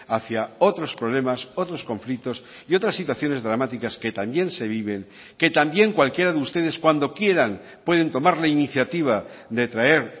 hacia otros problemas otros conflictos y otras situaciones dramáticas que también se viven que también cualquiera de ustedes cuando quieran pueden tomar la iniciativa de traer